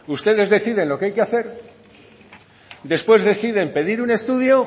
ustedes deciden lo que hay que hacer y después deciden pedir un estudio